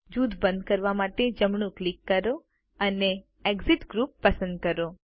જૂથ બંધ કરવા માટે જમણું ક્લિક કરો અને એક્સિટ ગ્રુપ પસંદ કરો